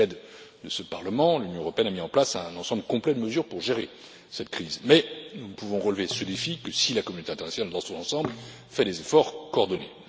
Avec l'aide de ce Parlement, l'Union européenne a mis en place un ensemble complet de mesures pour gérer cette crise, mais nous ne pouvons relever ce défi que si la communauté internationale dans son ensemble fait des efforts coordonnés.